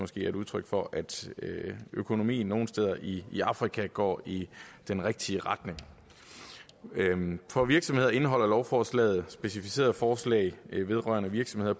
er et udtryk for at økonomien nogle steder i afrika går i den rigtige retning for virksomheder indeholder lovforslaget specificerede forslag vedrørende virksomheder